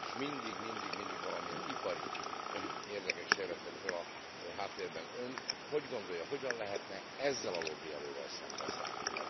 És mindig, mindig, mindig valamilyen ipari érdekek sejlettek fel a háttérben. Ön hogy gondolja, hogyan lehetne ezzel a lobbierővel szembeszállni?